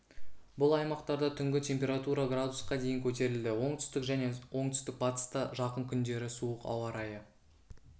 бұл аймақтарда түнгі температура градусқа дейін көтерілді оңтүстік және оңтүстік-бастыста жақын күндері суық ауа райы